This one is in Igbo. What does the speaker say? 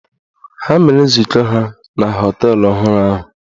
Ha mere nzukọ ha na họteelụ ọhụrụ ahụ.